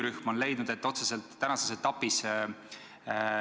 Samas ma tean, et miinimumeelarve, et midagi sellist korraldada, peaks olema 1,7 miljoni ringis.